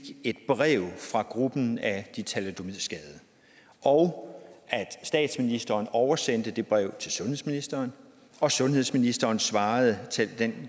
et brev fra gruppen af de thalidomidskadede og at statsministeren oversendte det brev til sundhedsministeren og at sundhedsministeren svarede